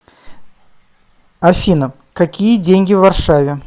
афина какие деньги в варшаве